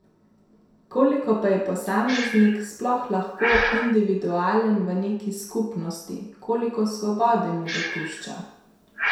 Koliko pa je posameznik sploh lahko individualen v neki skupnosti, koliko svobode mu dopušča?